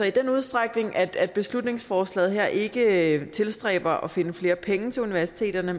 i den udstrækning at at beslutningsforslaget her ikke tilstræber at finde flere penge til universiteterne